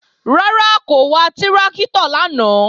Rárá, kò wa tráktọ̀ lánàá